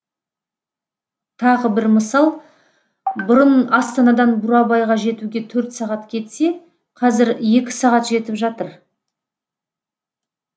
тағы бір мысал бұрын астанадан бурабайға жетуге төрт сағат кетсе қазір екі сағат жетіп жатыр